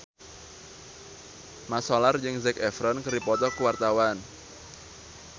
Mat Solar jeung Zac Efron keur dipoto ku wartawan